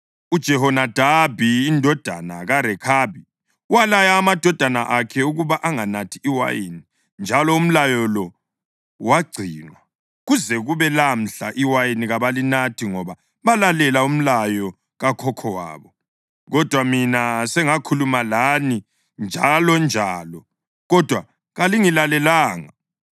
‘UJehonadabi indodana kaRekhabi walaya amadodana akhe ukuba anganathi iwayini, njalo umlayo lo wagcinwa. Kuze kube lamhla iwayini kabalinathi ngoba balalela umlayo kakhokho wabo. Kodwa mina sengakhuluma lani njalonjalo, kodwa kalingilalelanga.